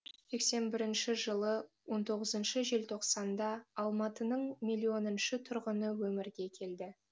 сексен бірінші жылы он тоғызыншы желтоқсанда алматының миллионыншы тұрғыны өмірге келді